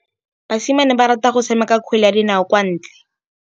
Basimane ba rata go tshameka kgwele ya dinaô kwa ntle.